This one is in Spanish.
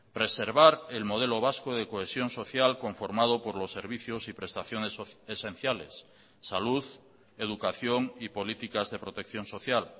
preservar el modelo vasco de cohesión social conformado por los servicios y prestaciones esenciales salud educación y políticas de protección social